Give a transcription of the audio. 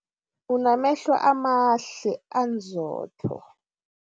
Unamehlo amahle anzotho.